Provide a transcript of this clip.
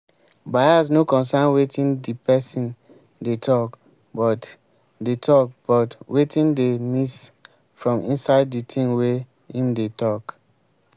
bias no concern wetin di person dey talk but dey talk but wetin dey miss from inside di thing wey im dey talk